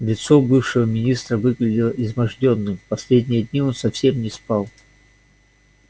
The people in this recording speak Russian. лицо бывшего министра выглядело измождённым последние дни он совсем не спал